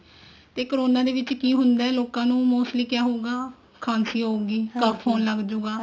ਤੇ corona ਦੇ ਵਿੱਚ ਕੀ ਹੁੰਦਾ mostly ਕਿਆ ਹੁੰਦਾ ਖਾਂਸੀ ਹੋਊਗੀ cough ਹੋਣ ਲੱਗਜੂਗਾ